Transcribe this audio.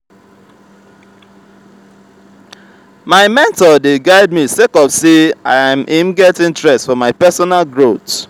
my mentor dey guide me sake of sey im get interest for my personal growth.